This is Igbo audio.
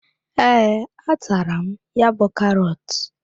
Ee, a taala m ya bú karọt.